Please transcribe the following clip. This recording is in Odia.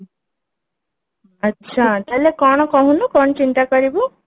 ଆଛା ତାହେଲେ କଣ କହୁନୁ କଣ ଚିନ୍ତା କରିବୁ